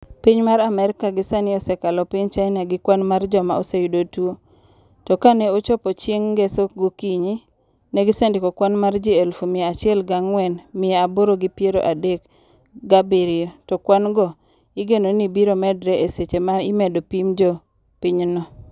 piny Amerika gie sani osekalo piny China gi kwan mar joma oseyudo tuo, to kaneochopo chieng ngeso gokinyi, ne gisendiko kwan mar ji eluf mia achiel ga angwen mia aboro gi peiro adek ga abirio to kwan go igeno ni biro medre e seche ma imedo pim jo pinyno